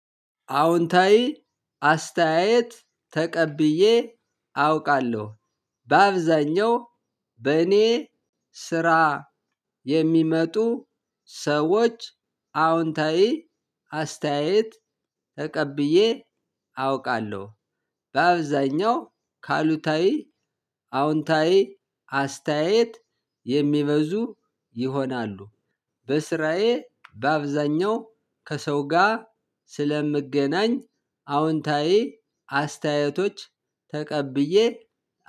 አዎንታዊ አስተያየት ተቀብዬ አውቃለሁ በአብዛኛው በእኔ ስራ የሚመጡ ሰዎች አዎንታዊ አስተያየት ተቀብዬ አውቃለሁ በአብዛኛው ከአሉታዊ አዎንታዊ አስተያየት የሚበዙ ይሆናሉ። በስራዬ በአብዛኛው ከሰው ጋር ስለምገናኝ አዎንታዊ አስተያየቶች ተቀብዬ